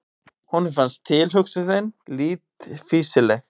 Honum fannst tilhugsunin lítt fýsileg.